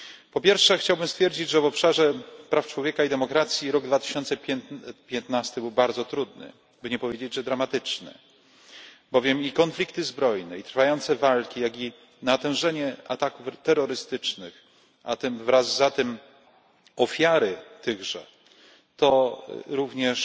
Po pierwsze, chciałbym stwierdzić, że w obszarze praw człowieka i demokracji rok 2015 był bardzo trudny, by nie powiedzieć dramatyczny, bowiem i konflikty zbrojne, i trwające walki, jak i natężenie ataków terrorystycznych, a wraz z tym ofiary tychże, to również